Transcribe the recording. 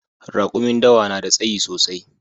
Rakumin dawa na da tsayi sosai